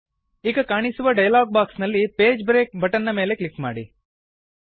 ಈಗ ಕಾಣಿಸುವ dialog box ನಲ್ಲಿ ಪೇಜ್ ಬ್ರೇಕ್ ಬಟನ್ ನ ಮೇಲೆ ಕ್ಲಿಕ್ ಮಾಡಿ